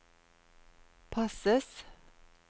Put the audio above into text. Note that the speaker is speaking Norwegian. passes